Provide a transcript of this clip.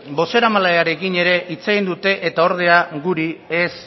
bozeramailearekin ere hitz egin dute eta ordeak guri ez